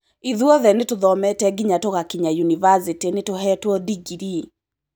ithuothe nĩ tũthomete nginya tũgakinyia yunivasĩtĩ nĩ tũheetwo digiri